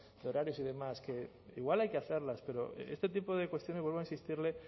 de horarios y demás que igual hay que hacerlas pero este tipo de cuestiones vuelvo a insistirle